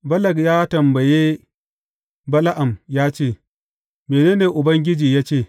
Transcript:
Balak ya tambaye Bala’am ya ce, Mene ne Ubangiji ya ce?